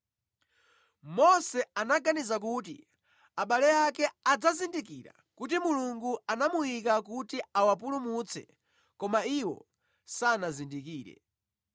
Mose anaganiza kuti abale ake adzazindikira kuti Mulungu anamuyika kuti awapulumutse koma iwo sanazindikire.